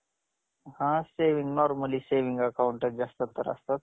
मी दहावी शिकलेली आहे